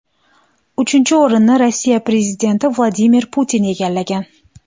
Uchinchi o‘rinni Rossiya prezidenti Vladimir Putin egallagan.